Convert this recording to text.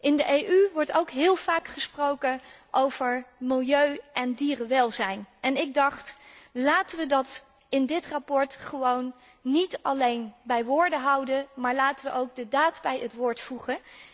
In de EU wordt ook heel vaak gesproken over milieu en dierenwelzijn en ik dacht laten we het in dit verslag niet alleen bij woorden houden, maar laten we ook de daad bij het woord voegen.